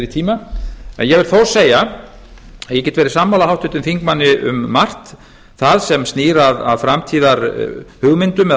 tíma en ég vil þó segja að ég get verið sammála háttvirtum þingmanni um margt það sem snýr að framtíðarhugmyndum eða